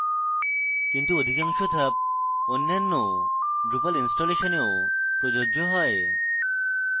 কিন্তু অধিকাংশ ধাপ অন্যান্য drupal ইনস্টলেশনেও প্রযোজ্য